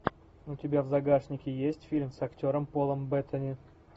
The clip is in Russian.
у тебя в загашнике есть фильм с актером полом беттани